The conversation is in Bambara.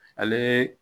Ale